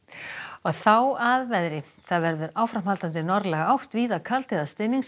þá að veðri það verður áframhaldandi norðlæg átt víða kaldi eða